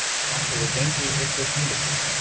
Ertu sáttur við gengi ykkar hingað til?